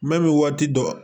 Mɛ bɛ waati dɔ